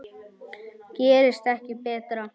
Gerist ekki betra.